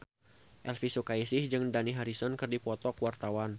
Elvy Sukaesih jeung Dani Harrison keur dipoto ku wartawan